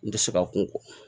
N tɛ se ka kunko